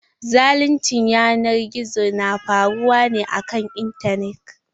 Zaluncin yanar gizo na faruwa ne a kan intanet.